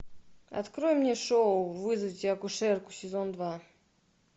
открой мне шоу вызовите акушерку сезон два